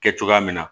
Kɛ cogoya min na